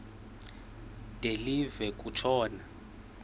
de live kutshona